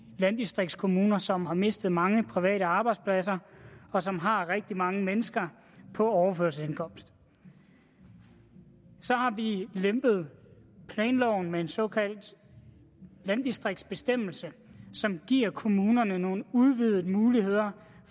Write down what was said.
landdistriktskommuner som har mistet mange private arbejdspladser og som har rigtig mange mennesker på overførselsindkomst så har vi lempet planloven med en såkaldt landdistriktsbestemmelse som giver kommunerne nogle udvidede muligheder